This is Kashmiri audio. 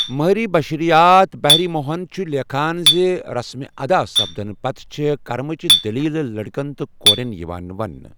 مٲہرِ بشرِیات ہہری موہن چُھ لیٚکھان زِ رسٕم ادا سپدٕنہٕ پتہٕ، چھےٚ کرمٕچہِ دٔلیٖل لٔڑکن تہٕ کوریٚن یِوان ونٛنہٕ۔